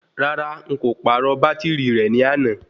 Rárá,n kò pàrọ̀ bátìrì rẹ ní àná.